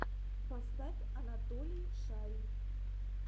поставь анатолий шарий